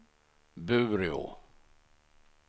Bureå